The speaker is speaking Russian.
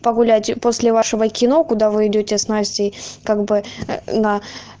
погулять после вашего кино куда вы идёте с настей как бы на